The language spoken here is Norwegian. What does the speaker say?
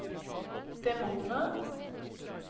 demoner